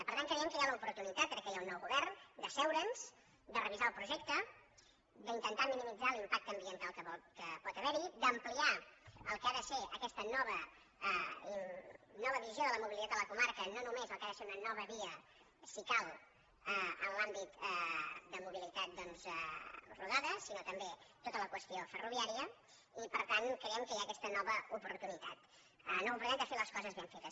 per tant creiem que hi ha l’oportunitat ara que hi ha un nou govern de asseure’ns de revisar el projecte d’intentar minimitzar l’impacte ambiental que pot haver hi d’ampliar el que ha de ser aquesta nova visió de la mobilitat de la comarca no només el que ha de ser una nova via si cal en l’àmbit de mobilitat doncs rodada sinó també tota la qüestió ferroviària i per tant creiem que hi ha aquesta nova oportunitat de fer les coses ben fetes